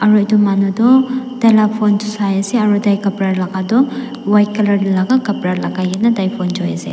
aro edu manu toh tai la phone saiase aro tai kapra lakatoh white colour laka kapra lakai kaena tai phone choiase.